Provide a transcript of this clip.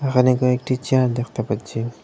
এখানে কয়েকটি চেয়ার দেখতে পাচ্ছি।